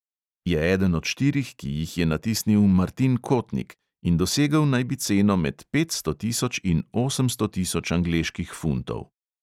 Je eden od štirih, ki jih je natisnil martin kotnik, in dosegel naj bi ceno med petsto tisoč in osemsto tisoč angleških funtov.